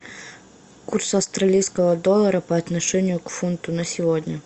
курс австралийского доллара по отношению к фунту на сегодня